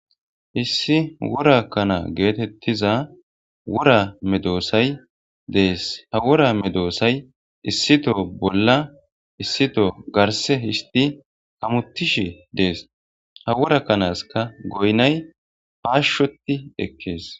Issi worakana geetettiza wora medoossay dees ha wora medoosay issito bolla issito garse histi kamuttishi dees ha worakkanaska goynay paashshoti ekkees.